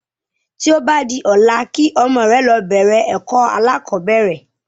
Tí o ba di ọ̀la kí ọmọ rẹ lọ bẹ̀rẹ̀ ẹ̀kọ́ alákọ̀bẹ́rẹ̀